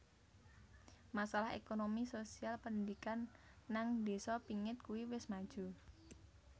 Masalah Ekonomi sosial pendidikan nang desa pingit kue wis maju